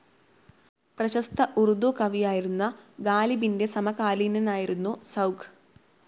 പ്രശസ്ത ഉറുദു കവിയായിരുന്ന ഗാലിബിൻ്റെ സമകാലീനനായിരുന്നു സൌഖ്.